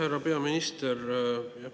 Härra peaminister!